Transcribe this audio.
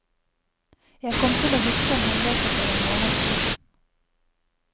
Jeg kom til å huske en hendelse for en måned siden.